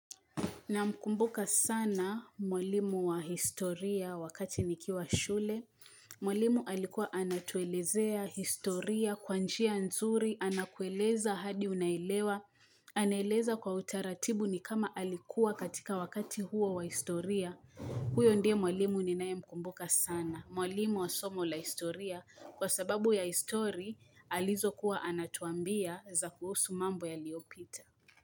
Namkumbuka sana mwalimu wa historia wakati nikiwa shule. Mwalimu alikuwa anatuelezea historia, kwa njia nzuri, anakueleza hadi unaelewa. Anaeleza kwa utaratibu ni kama alikuwa katika wakati huo wa historia. Huyo ndiye mwalimu ninae mkumbuka sana. Mwalimu wa somo la historia kwa sababu ya history alizokuwa anatuambia za kuhusu mambo yaliyopita.